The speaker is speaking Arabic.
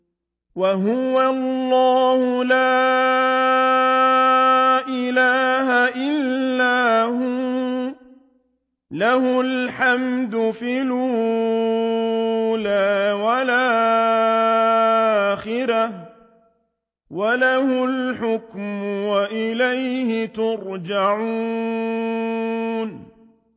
وَهُوَ اللَّهُ لَا إِلَٰهَ إِلَّا هُوَ ۖ لَهُ الْحَمْدُ فِي الْأُولَىٰ وَالْآخِرَةِ ۖ وَلَهُ الْحُكْمُ وَإِلَيْهِ تُرْجَعُونَ